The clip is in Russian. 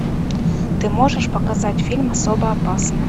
ты можешь показать фильм особо опасна